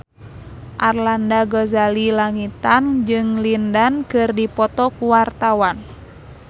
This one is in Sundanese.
Arlanda Ghazali Langitan jeung Lin Dan keur dipoto ku wartawan